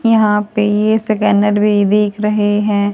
यहां पे स्कैनर भी दिख रहे हैं।